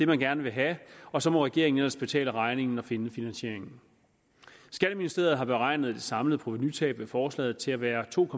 man gerne vil have og så må regeringen ellers betale regningen og finde finansieringen skatteministeriet har beregnet det samlede provenutab ved forslaget til at være to